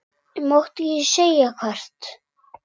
Ég mátti ekki segja hvert.